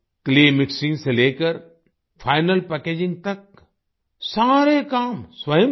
clay mixing से लेकर final packaging तक सारे काम स्वयं किए